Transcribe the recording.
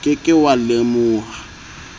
o ke ke wa lemoha